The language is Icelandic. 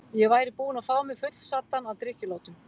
Ég væri búinn að fá mig fullsaddan af drykkjulátum.